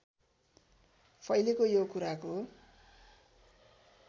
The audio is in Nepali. फैलेको यो कुराको